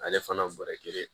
Ale fana bɔrɛ kelen